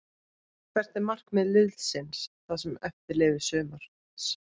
Hvert er markmið liðsins það sem eftir lifir sumars?